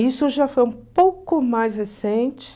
Isso já foi um pouco mais recente.